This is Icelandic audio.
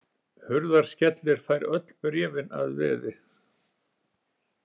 Hurðaskellir fær öll bréfin að veði.